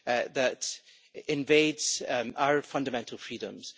that invades our fundamental freedoms.